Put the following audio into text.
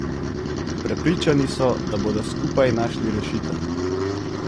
Prepričani so, da bodo skupaj našli rešitev.